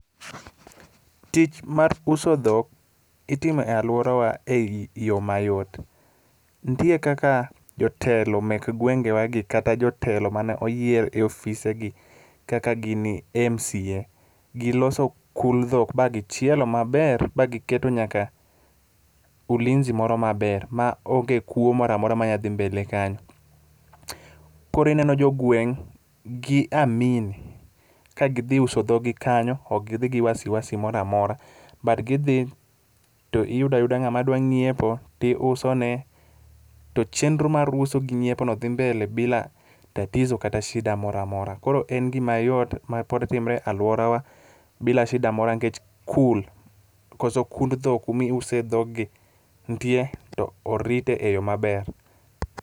Tich mar uso dhok itimo e alworawa ei yo mayot. Nitie kaka jotelo mek gwengewa gi kata jotelo mane oyier e ofisegi kaka gini MCA, giloso kul dhok ba gichielo maber bagiketo nyaka ulinzi moro maber ma onge kuwo mora mora manyadhi mbele kanyo. Koro ineno jogweng' gi amini kagidhi uso dhoggi kanyo, ok gidhi gi wasiwasi mora mora, but gidhi to iyudo ayuda ng'ama dwa ng'iepo, tiusone to chenro mar uso gi nyiepono dhi mbele bila tatizo kata shida mora mora. Koro en gima yot mapod timre e alworawa bila shida moro nikech kul, koso kund dhok kumi use dhoggi, nitie to orite e yo maber.